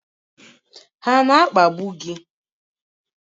Ha na akpagbu gị?